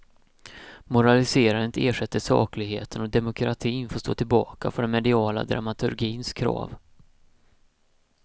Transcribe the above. Moraliserandet ersätter sakligheten och demokratin får stå tillbaka för den mediala dramaturgins krav.